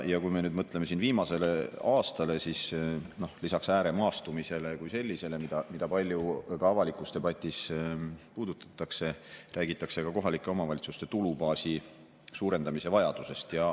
Ja kui me nüüd mõtleme viimasele aastale, siis lisaks ääremaastumisele kui sellisele, mida ka palju avalikus debatis puudutatakse, räägitakse ka kohalike omavalitsuste tulubaasi suurendamise vajadusest.